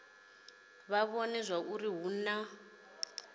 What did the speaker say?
vha vhone zwauri hu na